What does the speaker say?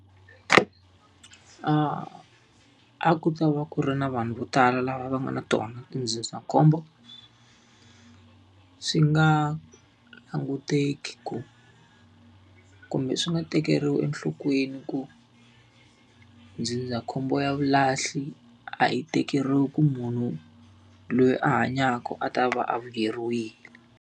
a ku ta va ku ri na vanhu vo tala lava va nga na tona tindzindzakhombo, swi nga languteki ku kumbe swi nga tekeriwi enhlokweni ku ndzindzakhombo ya vulahli a yi tekeriwi ku munhu loyi a hanyaka a ta va a vuyeriwile.